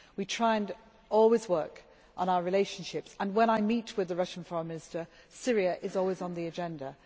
We try to always work on our relationships and, when I meet with the Russian Foreign Minister, Syria is always on the agenda